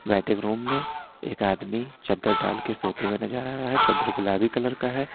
Waiting room में एक आदमी चद्दर डाल के सोते हुए नजर आ रहा है चद्दर गुलाबी कलर का है।